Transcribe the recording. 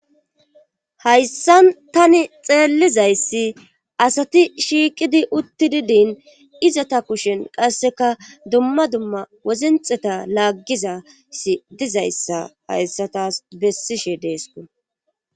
hayssan tani xeellizayssi asati shiiqidi uttidi din izata kushen qasseka dumma dumma wozinxeta laaggizasi dizayssa hayssa taas bessishe deesku